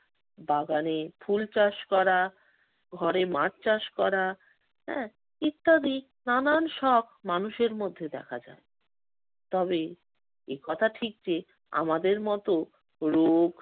বাগানে ফুল চাষ করা, ঘরে মাছ চাষ করা হ্যা ইত্যাদি নানান শখ মানুষের মধ্যে দেখা যায়। তবে একথা ঠিক যে আমাদের মতো রোগ,